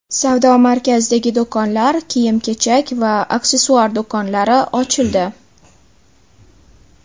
Savdo markazidagi do‘konlar, kiyim-kechak va aksessuar do‘konlari ochildi.